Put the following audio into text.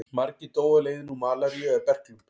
Margir dóu á leiðinni úr malaríu eða berklum.